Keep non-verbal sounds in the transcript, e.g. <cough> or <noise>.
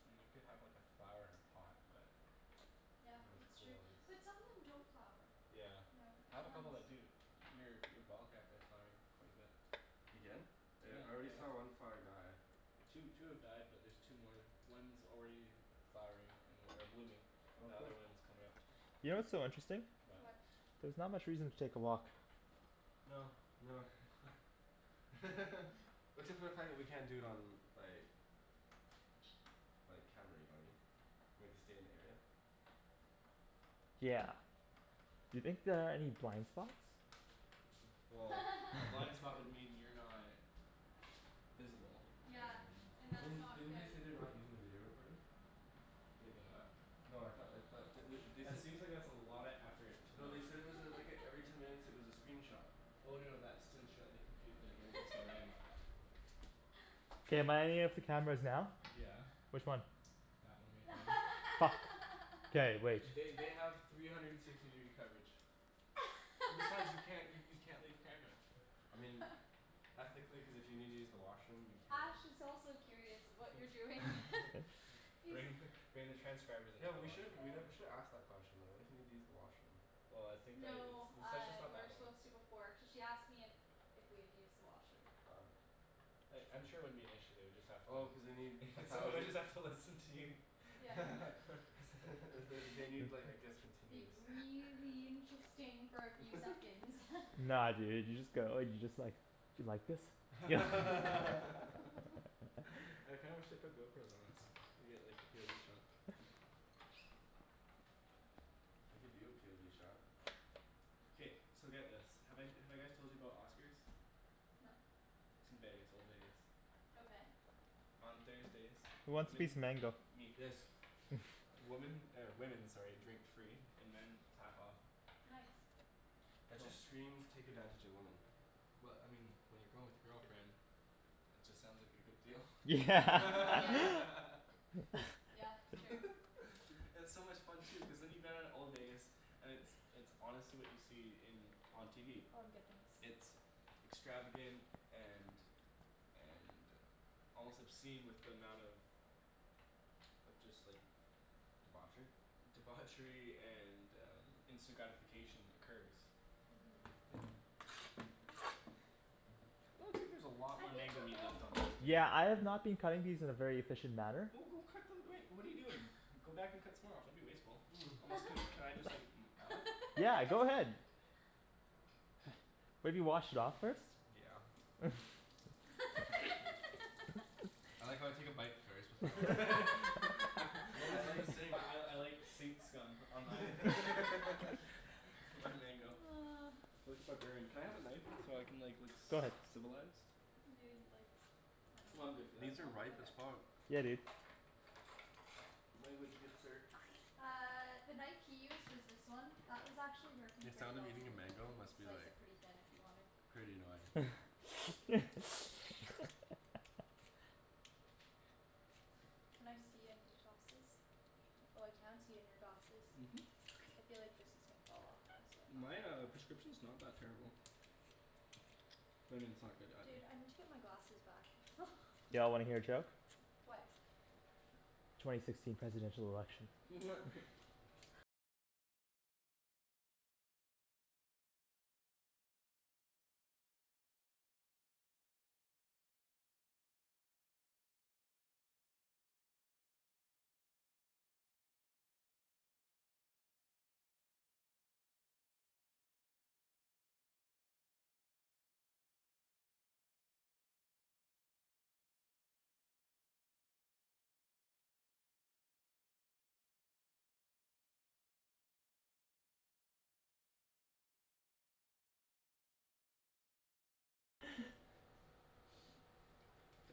I mean, you can have like a flower in a pot, but Yeah, Not as that's true, cool as but some of them don't flower. Yeah, Yeah, it I have a couple depends. that do. Your- your ball cacti is flowering quite a bit Again? Yeah, I already saw yeah. one flower die. Two two have died but there's two more. One's already flowering an- or blooming. Oh The cool. other one's comin' up. You know what's so interesting? What? There's not much reason to take a walk. No. No <laughs> <laughs> except for the fact that we can't do it on like like, camera, you know what I mean? We have to stay in the area. Yeah. You think there are any blind spots? Well, a <laughs> blind spot would mean you're not visible, Yeah, and and I that's mean, not didn't they say good. they're not using the video recording? Wait, they're not? No, I thought I thought they wou- they That said seems like it's a lotta effort to No, not they said it was a like a every ten <laughs> minutes it was a screenshot. Oh no no that's to ensure the compu- like everything's still running. <laughs> K, am I on any of the cameras now? Yeah. Which one? That one right there. Fuck. K, wait. They they have three <laughs> hundred and sixty degree coverage. Besides you can't you you <laughs> can't leave camera. I mean ethically, cuz if you need to use the washroom you Ash can. is also curious of what you're doing <laughs> <laughs> Bring He's- bring the transcribers into Yo, the we should've washroom we with nev- you. we should've asked the question though. What if you need to use the washroom? Well I think that it's No, the uh session's not we were that long. supposed to before cuz she asked me if if we had used the washroom. Oh. I- I'm sure it wouldn't be an issue, they would just have to Oh cuz they need a <laughs> thousand Somebody's have to listen to you Yeah <laughs> <laughs> they wou- they need like I guess It'd continuous be really interesting for a few <laughs> seconds <laughs> Nah dude, you just go like, you just like, "do you like this?" <laughs> <laughs> <laughs> <laughs> <noise> I kinda wish they put GoPros on us. We'd get like the POV shot. I'll give you a POV shot. K, so get this. Have I- have I guys told you about Oscar's? No. It's in Vegas, old Vegas. Okay. On Thursdays, Who wants a piece of women mango? Me. Yes. Woman, or women, sorry, drink free and men half off. Nice. That just screams take advantage of women. Well, I mean, when you're going with your girlfriend, it just sounds like a good deal <laughs> Yeah Mm, yeah. <laughs> <laughs> <laughs> Yeah, true. It's so much fun too, cuz then you get out of old Vegas. And it's it's honestly what you see in on TV. Oh I'm good, thanks. It's extravagant and and, almost obscene with the amount of of just like Debauchery? Debauchery and instant gratification occurs. <noise> That looks like there's a lot I more think mango the meat old left on those, dude. Yeah, I have not been cutting these in a very efficient manner. Well, go cut them, I mean, what are you doing? Go back and cut some more off, don't be wasteful. Almost can, <noise> can I <laughs> just gnaw? Yeah, go ahead. <laughs> Maybe wash it off first. Yeah <laughs> <laughs> I like how I take a bite first before I <laughs> wash it. I <laughs> What I was in like the <laughs> sink? I I I like sink scum on my <laughs> <laughs> <laughs> <laughs> my mango <noise> like a barbarian. Can I have a knife? So I can like look Go ahead. civilized? You didn't like I dunno. I'm good for that. These are No? ripe Okay as fuck. Yeah dude. Language, good sir. Uh the knife <noise> he used was this one. That was actually working The pretty sound of well for eating a me, you mango can must be slice like, it pretty thin if you want to pretty annoying. <noise> <laughs> Can I see in your glasses? Oh I can't see in your glasses. I feel like this <noise> is gonna fall off or My uh <inaudible> prescription's not that terrible. I mean it's not good either. Dude, I need to get my glasses back <laughs> Y'all wanna hear a joke? What? Twenty sixteen presidential election. <laughs>